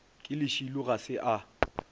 ke lešilo ga se a